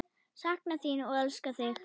Sakna þín og elska þig.